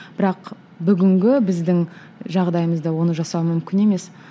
бірақ бүгінгі біздің жағдайымызда оны жасау мүмкін емес